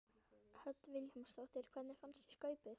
Hödd Vilhjálmsdóttir: Hvernig fannst þér Skaupið?